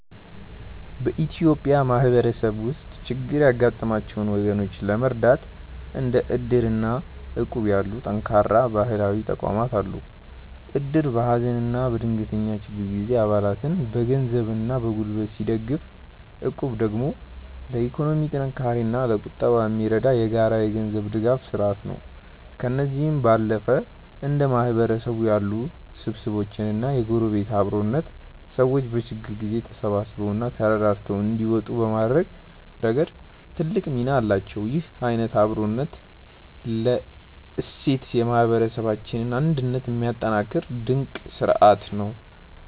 በኢትዮጵያ ማህበረሰብ ውስጥ ችግር ያጋጠማቸውን ወገኖች ለመርዳት እንደ እድር እና እቁብ ያሉ ጠንካራ ባህላዊ ተቋማት አሉ። እድር በሀዘንና በድንገተኛ ችግር ጊዜ አባላትን በገንዘብና በጉልበት ሲደግፍ፣ እቁብ ደግሞ ለኢኮኖሚ ጥንካሬና ለቁጠባ የሚረዳ የጋራ የገንዘብ ድጋፍ ስርአት ነው። ከእነዚህም ባለፈ እንደ ማህበር ያሉ ስብስቦችና የጎረቤት አብሮነት፣ ሰዎች በችግር ጊዜ ተሳስበውና ተረዳድተው እንዲወጡ በማድረግ ረገድ ትልቅ ሚና አላቸው። ይህ አይነቱ የአብሮነት እሴት የማህበረሰባችንን አንድነት የሚያጠናክር ድንቅ ስርአት ነው።